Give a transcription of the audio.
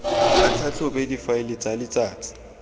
a tlhatlhobe difaele tsa letsatsi